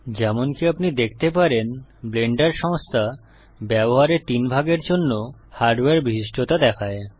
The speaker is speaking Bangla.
যেমনকি আপনি দেখতে পারেন ব্লেন্ডার সংস্থা ব্যবহারের তিন ভাগের জন্য হার্ডওয়্যার বিশিষ্টতা দেখায়